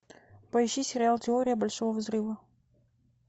поищи сериал теория большого взрыва